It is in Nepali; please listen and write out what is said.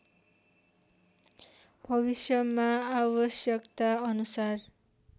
भविष्यमा आवश्यकता अनुसार